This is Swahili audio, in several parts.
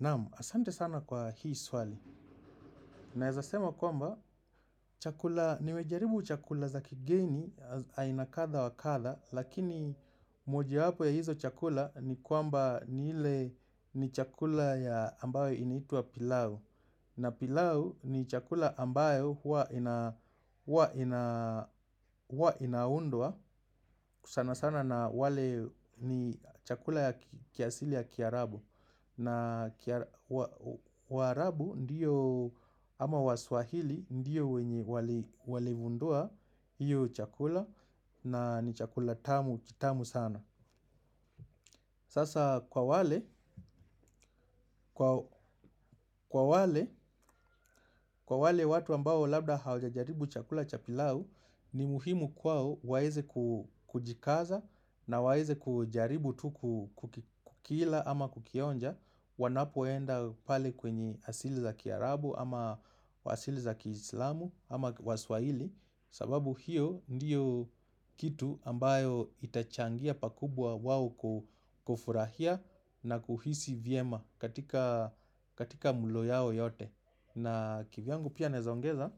Namu, asante sana kwa hii swali. Naezasema kwamba, chakula, niwejaribu chakula za kigeni, aina katha wa katha, lakini moji wapo ya hizo chakula ni kwamba niile ni chakula ya ambayo inaitua pilau. Na pilau ni chakula ambayo hua inaundua, sana sana na wale ni chakula ya kiasili ya kiarabu. Na warabu ndiyo ama waswahili ndiyo wenye walivundua hiyo chakula na ni chakula tamu kitamu sana. Sasa kwa wale watu ambao labda haujajaribu chakula cha pilau ni muhimu kwao waeze kujikaza na waeze kujaribu tuku kukila ama kukionja wanapoenda pale kwenye asili za kiarabu ama wasili za kiislamu ama waswaili. Sababu hiyo ndiyo kitu ambayo itachangia pakubwa wawo kufurahia na kuhisi viema katika mulo yao yote. Na kivyangu pia naezaongeza,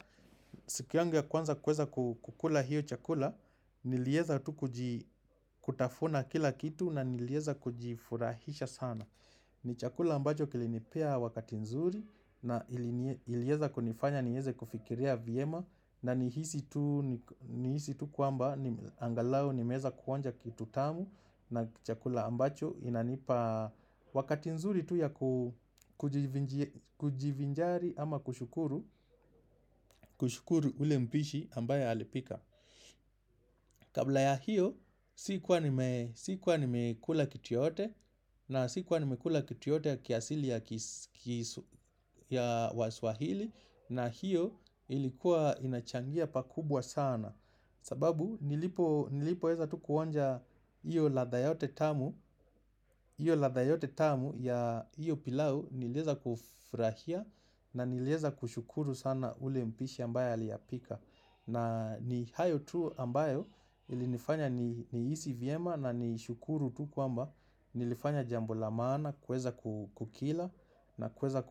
siku yangu ya kwanza kweza kukula hiyo chakula, nilieza tu kutafuna kila kitu na nilieza kujifurahisha sana. Ni chakula ambacho kilinipea wakati nzuri na ilieza kunifanya nieze kufikiria viema na nihisi tu kuamba angalao nimeza kuonja kitu tamu na chakula ambacho inanipa wakati nzuri tu ya kujivinjari ama kushukuru ule mbishi ambaye alipika. Kabla ya hiyo, sikuwa nimekula kitu yoyote, na sikuwa nimekula kitu yoyote ya kiasili ya waswahili, na hiyo ilikuwa inachangia pakubwa sana. Sababu, nilipoweza tu kuonja hiyo ladha yote tamu, hiyo ladha yote tamu ya hiyo pilau niliweza kufurahia na niliweza kushukuru sana ule mpishi ambaye aliyapika. Na ni hayo tu ambayo ilinifanya nihisi vyema na ni shukuru tu kwamba nilifanya jambo la maana kuweza kukila na kuweza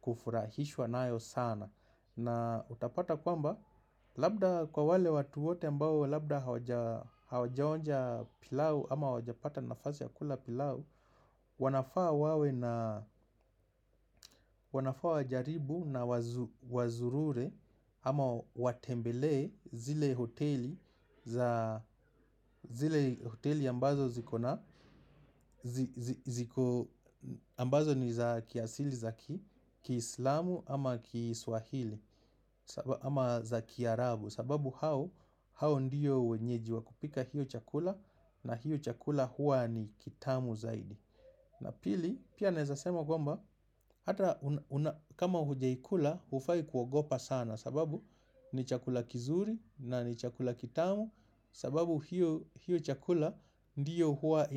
kufurahishwa nayo sana. Na utapata kwamba, labda kwa wale watu wote ambao labda hawajaonja pilau ama hawajapata nafasi ya kula pilau, wanafaa wawe na na wazurure ama watembele zile hoteli za hoteli ambazo ziko na, ambazo ni za kiasili za kislamu ama kiswahili ama za kiarabu. Sababu hao ndio wenyeji wa kupika hio chakula. Na hiyo chakula huwa ni kitamu zaidi. Na pili, pia naweza sema kwamba, kama hujaikula, hufai kuogopa sana, sababu ni chakula kizuri na ni chakula kitamu. Sababu hiyo chakula ndiyo huwa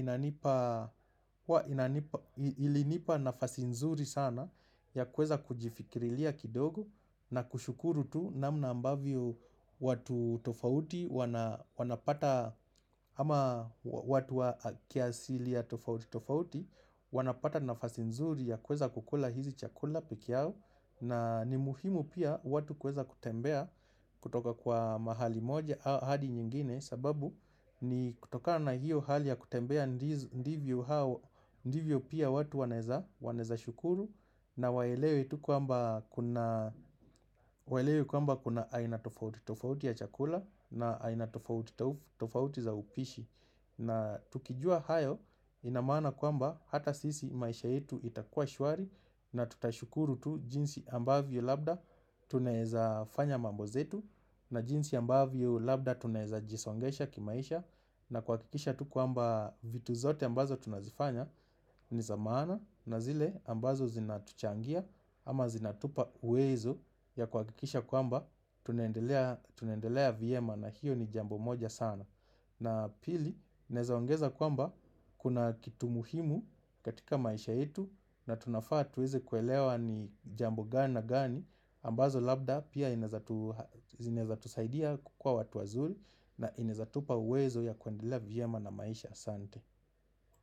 ilinipa nafasi nzuri sana ya kuweza kujifikirilia kidogo na kushukuru tu namna ambavyo watu tofauti wanapata ama watu wa kiasili ya tofauti wanapata nafasi nzuri ya kuweza kukula hizi chakula pekee yao. Na ni muhimu pia watu kweza kutembea kutoka kwa mahali moja haadi nyingine sababu ni kutokana hiyo hali ya kutembea ndivyo pia watu wanaweza shukuru. Na waelewe tu kwamba kuna aina tofauti tofauti ya chakula na aina tofauti tofauti za upishi. Na tukijua hayo ina maana kwamba hata sisi maisha yetu itakua shwari. Na tutashukuru tu jinsi ambavyo labda tunaweza fanya mambo zetu. Na jinsi ambavyo labda tunaweza jisongesha kimaisha. Na kuhakikisha tu kwamba vitu zote ambazo tunazifanya ni za maana na zile ambazo zinatuchangia ama zinatupa uwezo ya kuhakikisha kwamba tunaendelea tunaendelea vyema na hiyo ni jambo moja sana. Na pili, naweza ongeza kwamba kuna kitu muhimu katika maisha yetu na tunafaa tuweze kuelewa ni jambo gani na gani ambazo labda pia zinaweza tusaidia kukua watu wazuri na inaweza tupa uwezo ya kuendelea vyema na maisha. Asante.